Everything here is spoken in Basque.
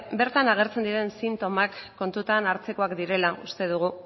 bertan agertzen diren sintomak kontutan hartzekoak direla uste dugu